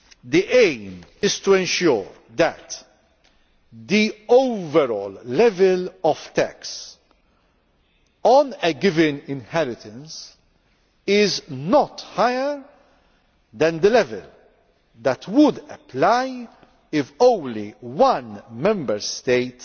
The aim is to ensure that the overall level of tax on a given inheritance is not higher than the level that would apply if only one Member State